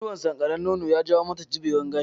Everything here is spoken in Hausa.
Ciwon sankarar nono ya jawo mata zubewar gashi